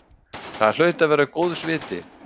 Það hlaut að vera góðs viti.